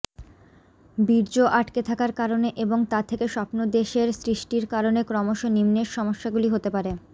বীর্য আটকে থাকার কারণে এবং তা থেকে স্বপ্নদেষের সৃষ্টির কারণে ক্রমশ নিম্নের সম্যসাগুলি হতে পারে